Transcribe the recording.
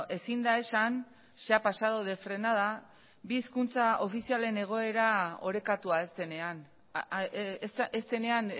ezin da esan se ha pasado de frenada bi hizkuntza ofizialen egoera orekatua ez denean ez denean